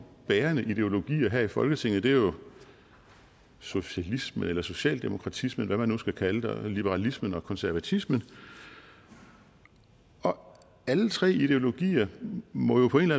bærende ideologier her i folketinget er jo socialisme eller socialdemokratisme eller hvad man nu skal kalde det og liberalisme og konservatisme og og alle tre ideologier må jo på en